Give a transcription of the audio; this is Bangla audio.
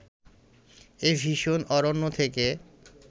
এ ভীষণ অরণ্য থেকে